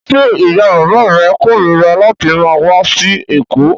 Ṣé ìyá-bàbá rẹ korira láti máa wá sí Èkó?